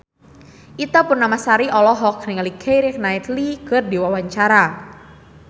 Ita Purnamasari olohok ningali Keira Knightley keur diwawancara